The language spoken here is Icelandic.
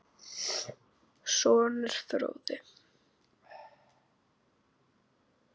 Sonur: Fróði.